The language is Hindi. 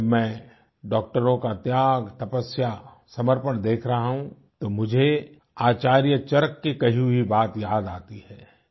आज जब मै डाक्टरों का त्याग़ तपस्या समर्पण देख रहा हूँ तो मुझे आचार्य चरक की कही हुई बात याद आती है